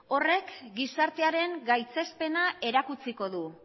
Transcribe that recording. horrek gizartearen gaitzespena erakutsiko du